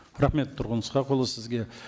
рахмет тұрғын ысқақұлы сізге